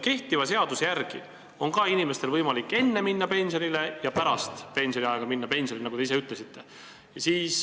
Kehtiva seaduse järgi on inimestel ju ka võimalik minna pensionile nii enne kui ka pärast pensioniea saabumist, nagu te ka ise ütlesite.